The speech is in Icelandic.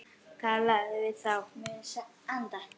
Talaðu við þá.